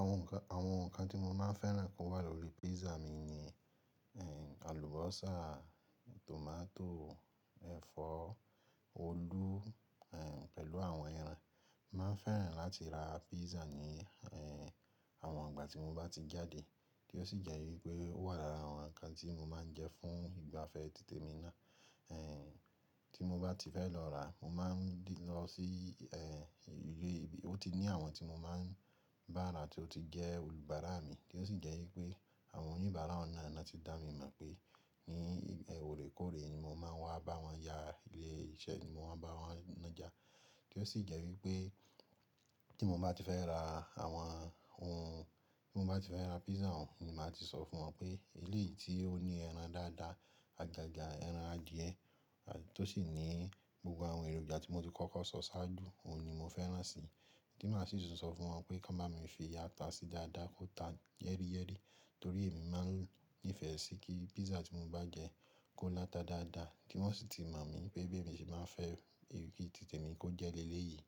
Àwọn nǹkan, àwọn nǹkan tí mo máa fẹ́ràn kó wà lórí pizza mi ni, ehn, àlùbọ́sà, tòmátò, ẹ̀fọ́, òlu, ehn, pẹ̀lú àwọn ẹran. Mo má fẹ́ràn láti ra pizza ní, ehn, àwọn ìgbà tí mo bá ti jáde, kí ó sì jẹ́ wípé ó wà lára àwọn nǹkan tí mo máa ń jẹ fún ìgbafẹ́ títè mi ná. Ehn, tí mo bá ti fẹ́ lọ ràá, mo máa ń lọ sí, ehn, ilé tí ó ti ní àwọn tí mo máa ń bá ra tí ó ti jẹ́ olùbàrá mi, kí ó sì jẹ́ wípé àwọn oníbàárà oun náà ni wọ́n ti dá mi mọ̀ pé ní ibe, òrékòré ni mo máa ń wá bá wọn yà, ilé iṣẹ́ ni mo máa ń bá wọn nàjà. Kí ó sì jẹ́ wípé tí mo bá ti fẹ́ ra àwọn ohun, tí mo bá ti fẹ́ ra pizza, òun ni màá ti sọ fún wọn pé eléyìí tí ó ní ẹran dáadáa, àgàgà ẹran adìẹ, tó sì ní gbogbo àwọn èròjà tí mo ti kọ́kọ́ sọ ṣáájú, òun ni mo fẹ́ràn si. Tí màá sì tún sọ fún wọn pé kí wọ́n bá mi fi áta sí dáadáa, kó ta yẹ́ríyẹ́rí, torí èmi máa ń nífẹ̀ẹ́ sí kí pizza tí mo bá jẹ kó láta dáadáa. Kí wọ́n sì ti mọ̀ mi pé bí èmi ṣe máa ń fẹ́ ìrírí títè mi kó jẹ́ léle yìí.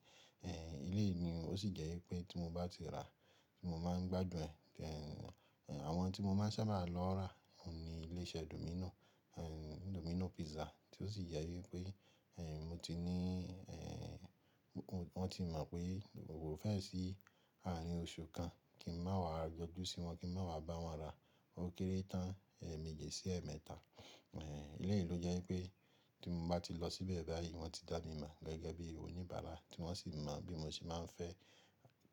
Ehn, eléyìí ni ó sì jẹ́ wípé tí mo bá ti ràá mo máa ń gbádùn ẹ̀. Ehn, àwọn tí mo máa ń sábà lọ rà á òun ni ilé-iṣẹ́ Domino, ehn, Domino Pizza. Tí ó sì jẹ wípé, ehn, mo ti ní, ehn, wọ́n ti mọ̀ pé mo fẹ́ ẹ̀ sí ààrin oṣù kan kí n máa wá yojú sí wọn, kí n máa wá bá wọn ra. O kéré tán, eeméji sí ẹ́ẹ̀mẹ́ta. Ehn, eléyìí ló jẹ́ wípé tí mo bá ti lọ síbẹ̀ báyìí wọ́n ti dá mi mọ̀ gẹ́gẹ́ bí oníbàárà tí wọ́n sì mọ̀ bí mo ṣe máa ń fẹ́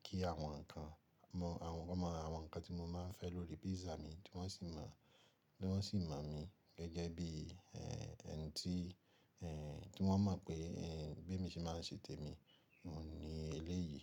kí àwọn nǹkan, mọ̀ àwọn, wọ́n mọ àwọn nǹkan tí mo máa ń fẹ́ lórí pizza mi, tí wọ́n sì mọ̀, tí wọ́n sì mọ̀ mi gẹ́gẹ́ bí, ehn, ẹni tí, ehn, tí wọ́n mọ̀ pé, ehn, bi emi ṣe máa ń ṣe tèmi oun ní eléyìí.